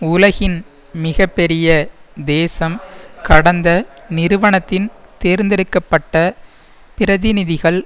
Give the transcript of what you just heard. உலகின் மிக பெரிய தேசம் கடந்த நிறுவனத்தின் தேர்ந்தெடுக்க பட்ட பிரதிநிதிகள்